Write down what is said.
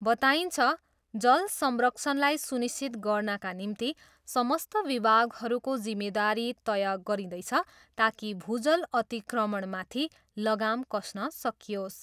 बताइन्छ, जल संरक्षणलाई सुनिश्चित गर्नाका निम्ति समस्त विभागहरूको जिम्मेदारी तय गरिँदैछ ताकि भूजल अतिक्रमणमाथि लगाम कस्न सकियोस्।